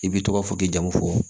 I b'i tɔgɔ fɔ k'i jamu fɔ